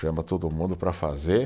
Chama todo mundo para fazer,